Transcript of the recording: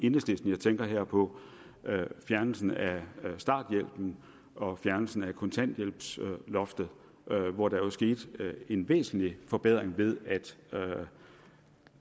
enhedslisten jeg tænker her på fjernelsen af starthjælpen og fjernelsen af kontanthjælpsloftet hvor der er sket en væsentlig forbedring ved at